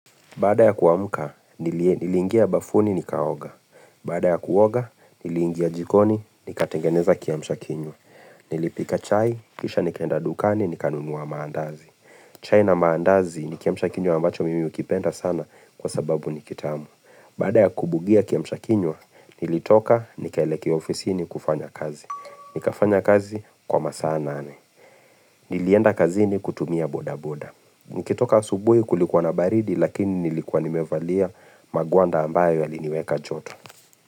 Baada ya kuamka, nilingia bafuni ni kaoga. Baada ya kuoga, niliingia jikoni ni katengeneza kiamshakinywa Nilipika chai, kisha nikaenda dukani ni kanunua maandazi. Chai na maandazi ni kiamshakinywa ambacho mimi hukipenda sana kwa sababu nikitamu. Baada ya kubugia kiamshakinywa, nilitoka nikaelekea ofisini kufanya kazi. Nikafanya kazi kwa masaa nane. Nilienda kazini kutumia boda boda. Nikitoka asubuhi kulikuwa na baridi lakini nilikua nimevalia magwanda ambayo yaliniweka joto.